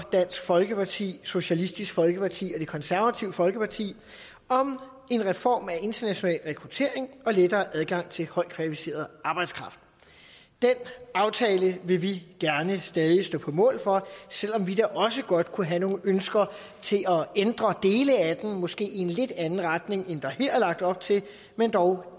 dansk folkeparti socialistisk folkeparti og det konservative folkeparti om en reform af international rekruttering og lettere adgang til højt kvalificeret arbejdskraft den aftale vil vi gerne stadig stå på mål for selv om vi også godt kunne have nogle ønsker til at ændre dele af en måske lidt anden retning end der her er lagt op til men dog